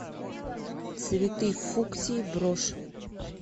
цветы фуксии брошь